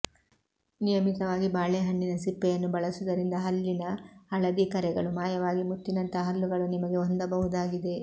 ನಿಯಮತವಾಗಿ ಬಾಳೆಹಣ್ಣಿನ ಸಿಪ್ಪೆಯನ್ನು ಬಳಸುವುದರಿಂದ ಹಲ್ಲಿನ ಹಳದಿ ಕರೆಗಳು ಮಾಯವಾಗಿ ಮುತ್ತಿನಂತಹ ಹಲ್ಲುಗಳನ್ನು ನಿಮಗೆ ಹೊಂದಬಹುದಾಗಿದೆ